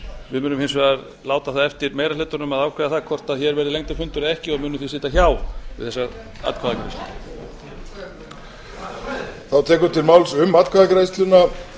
við munum hins vegar láta það eftir meiri hlutanum að ákveða að hvort hér verði lengri fundur eða ekki og munum því sitja hjá við þessa atkvæðagreiðslu